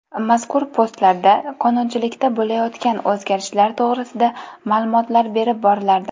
Mazkur postlarda qonunchilikda bo‘layotgan o‘zgarishlar to‘g‘risida ma’lumotlar berib borilardi.